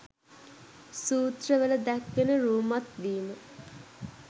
සූත්‍රවල දැක්වෙන රූමත් වීම